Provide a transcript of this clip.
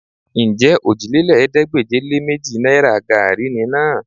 Ǹjẹ́ òjìlélẹ́ẹ̀ẹ́dégbèje-lé-méjì náìrà gaàrí ni náà?